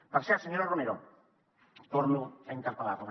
per cert senyora romero torno a interpel·lar la